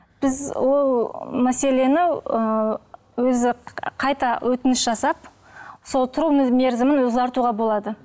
біз ол мәселені ы өзі қайта өтініш жасап сол тұру мерзімін ұзартуға болады